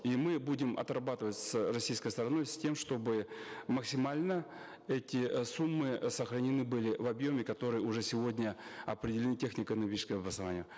и мы будем отрабатывать с российской стороной с тем чтобы максимально эти э суммы э сохранены были в объеме которые уже сегодня определены технико экономическим обоснованием